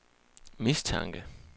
mistanke